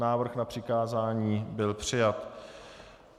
Návrh na přikázání byl přijat.